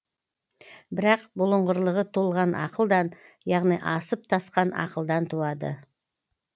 бірақ бұлыңғырлығы толған ақылдан яғни асып тасқан ақылдан туады